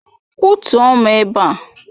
Kwọtụo m ugbu a!